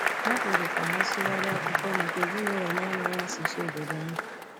Ha kwere ka ha sụgharịa akwụkwọ maka ezinụlọ na-amaghị asụsụ obodo ahụ.